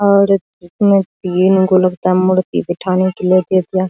और एक मस्त ग्रीन कलर का मूर्ति बैठाने के लिए दे दिया --